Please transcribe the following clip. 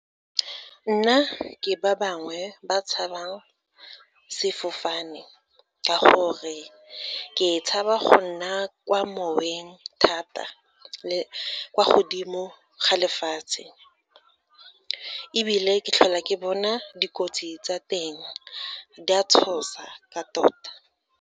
Nna ke ba bangwe ba tshabang sefofane, ka gore ke tshaba go nna kwa moweng thata, le kwa godimo ga lefatshe ebile ke tlhola ke bona dikotsi tsa teng di a tshosa ka tota.